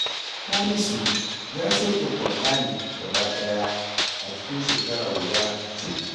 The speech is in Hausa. Hamisu ya sauke Ƙur'ani gabaɗaya a cikin shekara guda cif